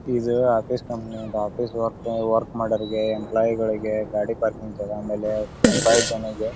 ಇದು ಆಫೀಸ್ ಕಂಪನೀಂತ office work ಮಾಡೋರಿಗೆ ಎಂಪ್ಲಾಯಿ ಗಳಿಗೆ ಗಾಡಿ ಪಾರ್ಕಿಂಗ್ ಆಮೇಲೆ --